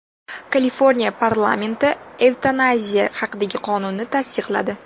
Kaliforniya parlamenti evtanaziya haqidagi qonunni tasdiqladi.